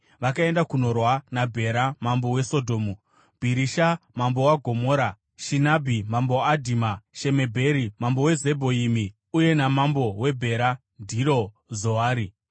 vakaenda kundorwa naBhera mambo weSodhomu, Bhirisha mambo weGomora, Shinabhi mambo weAdhima, Shemebheri mambo weZebhoimi, uye namambo weBhera (ndiro Zoari).